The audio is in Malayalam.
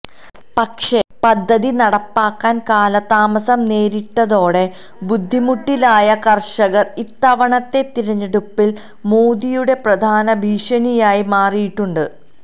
പക്ഷേ പദ്ധതി നടപ്പാക്കാന് കാലതാമസം നേരിട്ടതോടെ ബുദ്ധിമുട്ടിലായ കര്ഷകര് ഇത്തവണത്തെ തിരഞ്ഞെടുപ്പില് മോദിയുടെ പ്രധാന ഭീഷണിയായി മാറിയിട്ടുണ്ട്